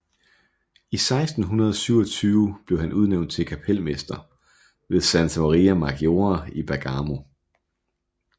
I 1627 blev han udnævnt til kapelmester ved Santa Maria Maggiore i Bergamo